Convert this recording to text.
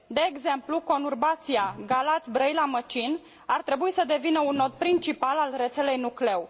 De exemplu, conurbația Galați Brăila Măcin ar trebui să devină un nod principal al rețelei nucleu.